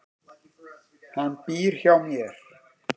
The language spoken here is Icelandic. Hann býr hjá mér.